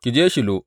Ki je Shilo.